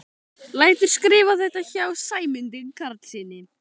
Lætur skrifa þetta hjá Sæmundi Karlssyni.